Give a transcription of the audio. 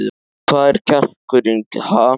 Hvar er kjarkurinn, ha?